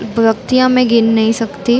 व्यक्तियाँ मैं गीन नहीं सकती--